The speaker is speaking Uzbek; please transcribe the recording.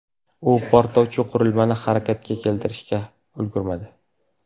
U portlovchi qurilmani harakatga keltirishga ulgurmadi.